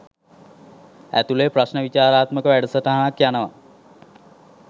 ඇතුලේ ප්‍රශ්ණ විචාරාත්මක වැඩසටහනක් යනවා